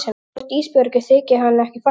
Hvort Ísbjörgu þyki hann ekki fallegur?